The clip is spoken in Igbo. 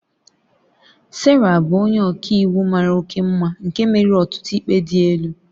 Sarah bụ onye ọka iwu mara oke mma nke meriri ọtụtụ ikpe dị elu